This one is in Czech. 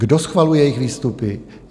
Kdo schvaluje jejich výstupy?